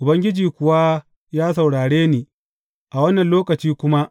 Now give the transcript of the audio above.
Ubangiji kuwa ya saurare ni a wannan lokaci kuma.